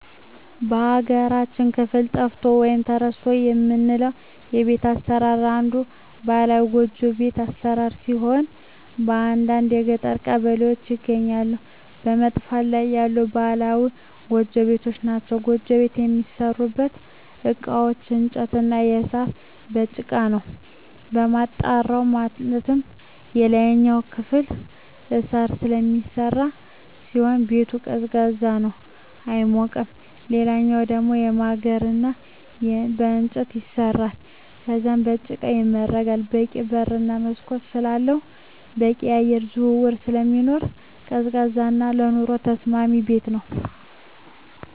በሀገራችን ክፍል ጠፍቷል ወይም ተረስቷል የምለው የቤት አሰራር አንዱ ባህላዊ ጎጆ ቤት አሰራር ሲሆን በአንዳንድ የገጠር ቀበሌዎች ይገኛሉ በመጥፋት ላይ ያሉ ባህላዊ ጎጆ ቤቶች ናቸዉ። ጎጆ ቤት የሚሠሩበት እቃዎች በእንጨት እና በሳር፣ በጭቃ ነው። የጣራው ማለትም የላይኛው ክፍል በሳር ስለሚሰራ ሲሆን ቤቱ ቀዝቃዛ ነው አይሞቅም ሌላኛው ደሞ በማገር እና በእንጨት ይሰራል ከዛም በጭቃ ይመረጋል በቂ በር እና መስኮት ስላለው በቂ የአየር ዝውውር ስለሚኖር ቀዝቃዛ እና ለኑሮ ተስማሚ ቤት ነው።